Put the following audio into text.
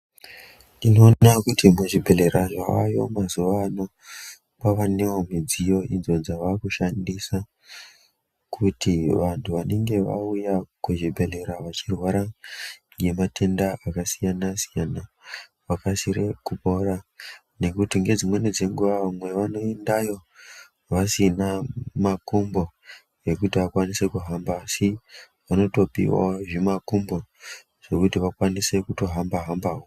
Tinoona kuti muzvibhodhlera zvayo mazuwano kwavanewo midziyo idzo dzavakushasa kuti vantu vanenge vauya kuzvibhedhlera vachirwara nematenda akasiyana siyana vakasire kupora ngekuti ngedzimweni dzenguwa vamwe vanoendayo vasina makumbo ekuti akwanise kuhamba asi vanotopiwa zvimakumbo zvekuti vakwanise kutohamba hambawo.